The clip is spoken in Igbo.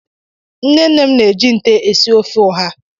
Nne nne m na-eji nté esi ofe ụha.